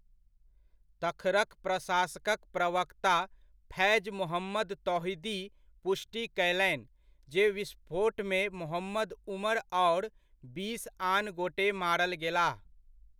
तखरक प्रशासकक प्रवक्ता फैज मोहम्मद तौहीदी पुष्टि कयलनि, जे विस्फोटमे मोहम्मद उमर आओर बीस आन गोटे मारल गेलाह।